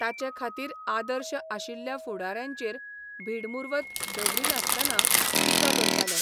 ताचे खातीर आदर्श आशिल्ल्या फुडाऱ्यांचेर भीडमुर्वत दवरिनासतना टिका करतालो.